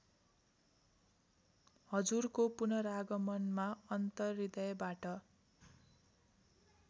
हजुरको पुनरागमनमा अन्तर्हृदयबाट